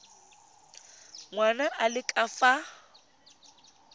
ngwana a le ka fa